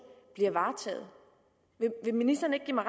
bliver varetaget vil ministeren ikke give mig